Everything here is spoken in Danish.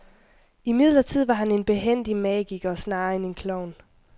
Imidlertid var han en behændig magiker snarere end en klovn.